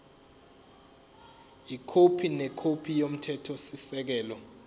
ikhophi nekhophi yomthethosisekelo